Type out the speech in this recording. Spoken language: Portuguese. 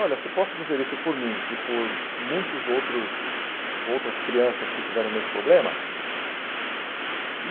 Olha, se posso dizer isso por mim e por muitas outros outras crianças que tiveram o mesmo problema?